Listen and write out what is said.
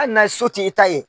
Hali n'a so t' i ta ye.